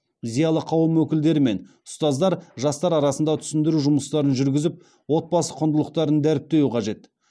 зиялы қауым өкілдері мен ұстаздар жастар арасында түсіндіру жұмыстарын жүргізіп отбасы құндылықтарын дәріптеуі қажет